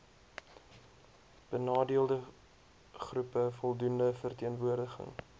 benadeeldegroepe voldoende verteenwoordiging